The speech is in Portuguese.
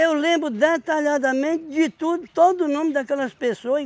lembro detalhadamente de tudo, todo o nome daquelas pessoas.